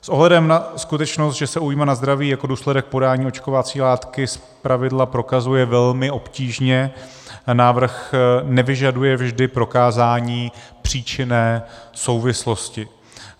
S ohledem na skutečnost, že se újma na zdraví jako důsledek podání očkovací látky zpravidla prokazuje velmi obtížně, návrh nevyžaduje vždy prokázání příčinné souvislosti.